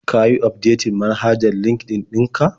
Ka yi ufdetin manhajar LinkedIn ɗin ka?